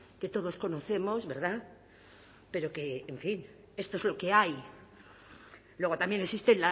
que todos conocemos verdad pero que en fin esto es lo que hay luego también existe